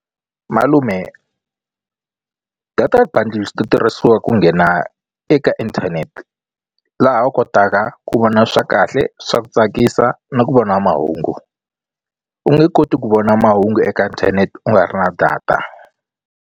Malume data bundles ti tirhisiwa ku nghena eka inthanete laha u kotaka ku vona swa kahle swa ku tsakisa na ku vona mahungu u nge koti ku vona mahungu eka inthanete u nga ri na data.